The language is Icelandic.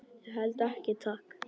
Ég held ekki, takk.